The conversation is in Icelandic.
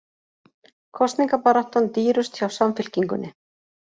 Kosningabaráttan dýrust hjá Samfylkingunni